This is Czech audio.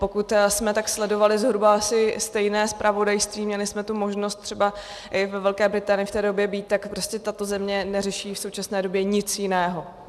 Pokud jsme tak sledovali zhruba asi stejné zpravodajství, měli jsme tu možnost třeba i ve Velké Británii v té době být, tak prostě tato země neřeší v současné době nic jiného.